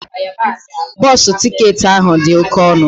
Bọsụ ticketị ahụ dị oke ọnụ